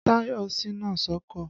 Tàyọ̀ ṣíná sọ́kọ̀.